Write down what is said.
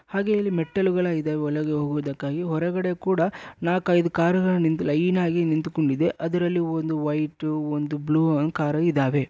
ಹಾಗೆ ಇಲ್ಲಿ ಮೆಟ್ಟಿಲುಗಳು ಇದಾವೆ ಒಳಗೆ ಹೋಗುವುದಕ್ಕಾಗಿ ಹೊರಗಡೆ ಕೂಡ ನಾಕೈದು ಕಾರುಗಳು ನಿಂತು ಲೈನಾಗಿ ನಿಂತುಕೊಡಿವೆ. ಒಂದು ವೈಟು ಒಂದು ಬ್ಲೂ ಅಂಗ್ ಕಾರು ಇದಾವೆ.